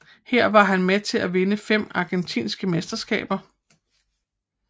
Her var han med til at vinde fem argentinske mesterskaber